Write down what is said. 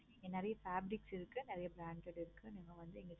இங்க நெறைய fabrics இருக்கு. நெறைய branded இருக்கு. நீங்க வந்து